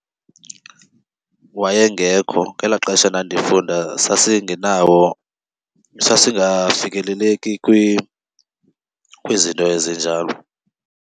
Wayengekho, ngelaa xesha ndandifunda sasingenawo, sasingafikeleleki kwizinto ezinjalo.